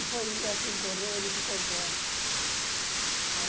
E foi assim correu, ele ficou bom.